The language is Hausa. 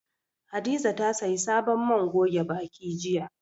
Hadiza ta sayi sabon man goge baki jiya.